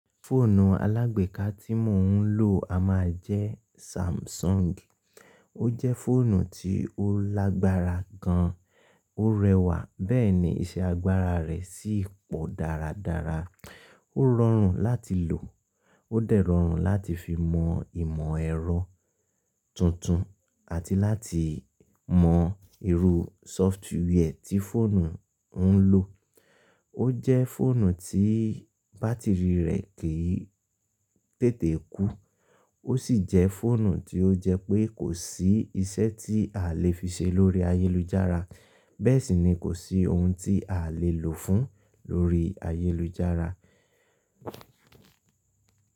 Fóònù alágbèéká tí mò ń lò a má a jẹ́ Samsung. Ó jẹ́ fóònù tí ó lágbára gan, ó rẹwà bẹ́ẹ̀ ni iṣẹ́ agbára rẹ̀ sì pọ̀ dáradára. Ó rọrùn láti lò, ó dẹ́rọrùn láti fi mọ ìmọ̀ ẹ̀rọ tuntun àti láti mọ irú sófutúwẹ ti fóònù ń lò. Ó jẹ́ fóònù tí bátìrì rẹ̀ kì í tètè kú. Ó sì jẹ́ fóònù tí ó jẹ́ pé kò sí iṣẹ́ tí a lè fi ṣe lórí ayélujára. Bẹ́ẹ̀ sì ni kò sí ohun tí a lè lò ó fún lórí ayélujára.